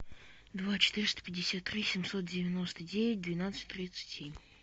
два четыреста пятьдесят три семьсот девяносто девять двенадцать тридцать семь